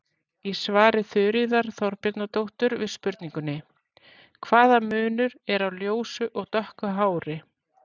Í svari Þuríðar Þorbjarnardóttur við spurningunni: Hvaða munur er á ljósu og dökku hári?